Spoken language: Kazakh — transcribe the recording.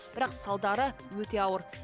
бірақ салдары өте ауыр